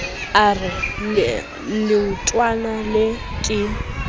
a re leotwana lee ke